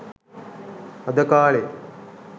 අද කාලෙ